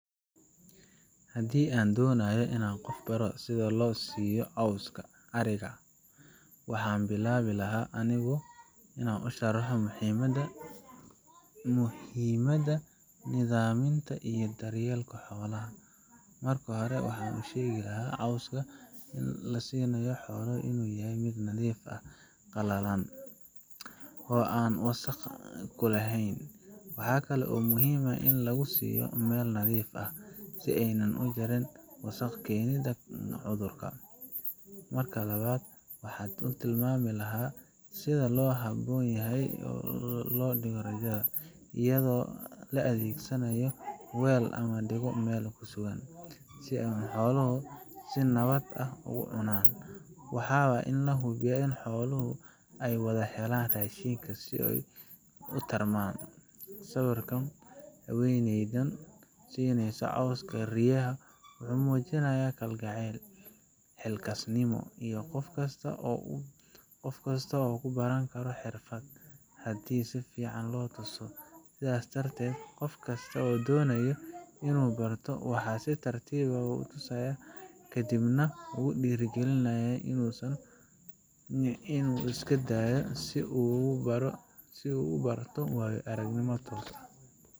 Haddii aan doonayo inaan qof baro sida loo siiyo cawska ariga, waxaan bilaabi lahaa anigoo u sharxaya muhiimadda nidaaminta iyo daryeelka xoolaha. Marka hore, waxaan u sheegi lahaa in cawska la siinayo xoolaha uu yahay mid nadiif ah, qalalan, oo aan wasakh kulahayn. Waxa kale oo muhiim ah in lagu siiyo meel nadiif ah, si aaynan u jirin wasakhda keeni karta cudur. Marka labaad, waxaan u tilmaami lahaa sida ugu habboon ee loo dhiibo raaqa iyadoo la adeegsado weel ama la dhigo meel sugan, si ay xooluhu si nabad ah ugu cunaan. Waa in la hubiyaa in xooluhu ay wada helaan raashinka, ooy tarmaan. Sawirka haweeneydan siineysa cawska riyaha wuxuu muujinayaa kalgacal, xilkasnimo iyo in qof kastaa uu baran karo xirfaddan, haddii si fiican loo tuso. Sidaas darteed, qof kasta oo doonaya inuu barto, waxaan si tartiib ah u tusayaa, kadibna ugu dhiirrigelinayaa inuu iskadayo si uu uga barto waayoaragnimo toos ah.